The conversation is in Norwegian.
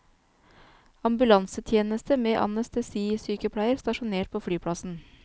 Ambulansetjeneste med anestesisykepleier, stasjonert på flyplassen.